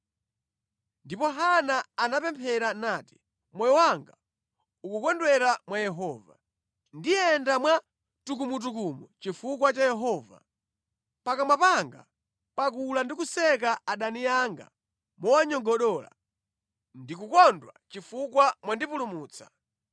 Ndipo Hana anapemphera nati, “Moyo wanga ukukondwera mwa Yehova; Ndiyenda mwa tukumutukumu chifukwa cha Yehova. Pakamwa panga pakula ndi kuseka adani anga mowanyogodola. Ndikukondwa chifukwa mwandipulumutsa.